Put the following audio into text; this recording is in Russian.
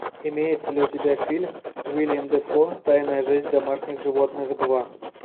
имеется ли у тебя фильм уиллем дефо тайная жизнь домашних животных два